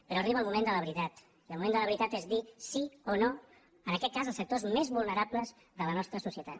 però arriba el moment de la veritat i el moment de la veritat és dir sí o no en aquest cas als sectors més vulnerables de la nostra societat